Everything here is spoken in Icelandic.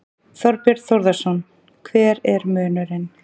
Þorbjörn Þórðarson: Hver er munurinn?